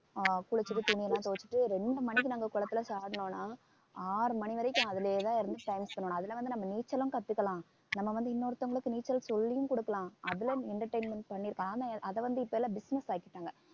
ஆஹ் குளிச்சிட்டு துணியெல்லாம் துவைச்சுட்டு ரெண்டு மணிக்கு நாங்க குளத்தில ஆறு மணி வரைக்கும் அதிலேயேதான் இருந்து time spend பண்ணணும் அதுல வந்து நம்ம நீச்சலும் கத்துக்கலாம் நம்ம வந்து இன்னொருத்தவங்களுக்கு நீச்சல் சொல்லியும் குடுக்கலாம் அதுல entertainment பண்ணியிருப்பாங்க ஆனா அதை வந்து இப்ப எல்லாம் business ஆக்கிட்டாங்க